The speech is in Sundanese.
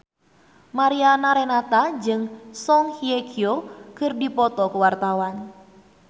Mariana Renata jeung Song Hye Kyo keur dipoto ku wartawan